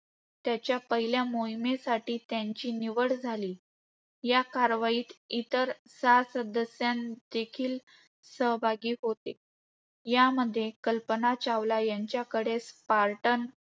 त्याच्या पहिल्या मोहिमेसाठी त्यांची निवड झाली. या कारवाईत इतर सहा सदस्यदेखील सहभागी होते. यामध्ये, कल्पना चावला यांच्याकडे स्पार्टन